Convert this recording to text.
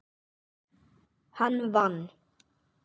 Hann vann.